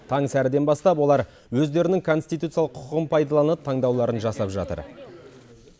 таң сәріден бастап олар өздерінің конституциялық құқығын пайдалынып таңдауларын жасап жатыр